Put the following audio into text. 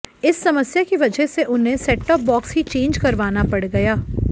इस समस्या की वजह से उन्हें सेट टॉप बॉक्स ही चेंज करवाना पड़ गया